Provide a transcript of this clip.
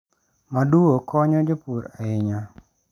Maduo konyo jopur ahinya.